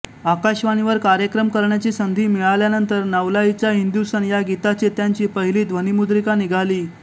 आकाशवाणीवर कार्यक्रम करण्याची संधी मिळाल्यानंतर नवलाईचा हिंदुस्थान या गीताचे त्यांची पहिली ध्वनिमुद्रिका निघाली